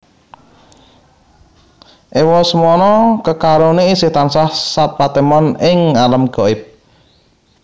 Ewa semana kekaroné isih tansah sapatemon ing alam gaib